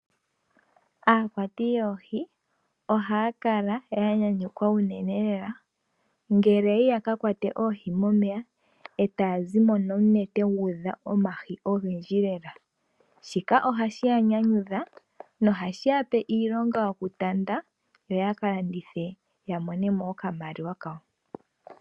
Aakwati yoohi ohaya kala yanyanyukwa unene le la . Ngele yayi yakakwate oohi momeya etaya zimo nomunete guudha omahi ogendji lela. Shika ohashi yanyanyudha nohashi yape iilonga yoku tanda yo yaka landithe ya monemo oka maliwa kawo.